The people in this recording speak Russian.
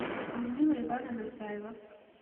людмила ивановна саева